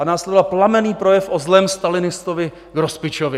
A následoval plamenný projev o zlém stalinistovi Grospičovi.